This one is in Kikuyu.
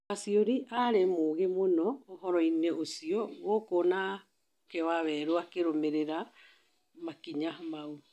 Waciùrĩ arĩ mũũgĩ mũno ũhoro- ĩnĩ ũcĩo gũkũ nake waweru onake akĩrũmĩrĩra makĩnya maũ